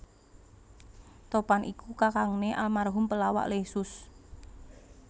Topan iku kakangné almarhum pelawak Leysus